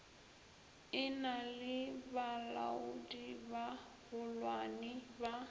e na le balaodibagolwane ba